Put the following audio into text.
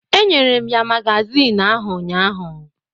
Enyere m ya magazin ahụ ụnyahụ.